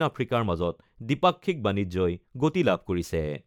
আফ্ৰিকাৰ মাজত দ্বিপাক্ষিক বাণিজ্যই গতি লাভ কৰিছে।